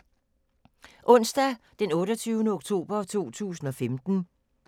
Onsdag d. 28. oktober 2015